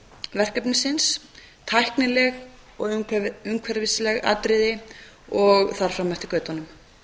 verkefnisins tæknileg og umhverfisleg atriði og þar fram eftir götunum